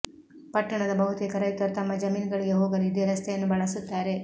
ಪಟ್ಟಣದ ಬಹುತೇಕ ರೈತರು ತಮ್ಮ ಜಮೀನುಗಳಿಗೆ ಹೋಗಲು ಇದೇ ರಸ್ತೆಯನ್ನು ಬಳಸುತ್ತಾರೆ